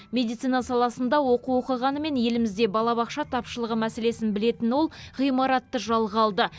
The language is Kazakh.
медицина саласында оқу оқығанымен елімізде балабақша тапшылығы мәселесін білетін ол ғимаратты жалға алды